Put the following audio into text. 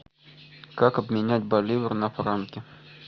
как обменять боливар на франки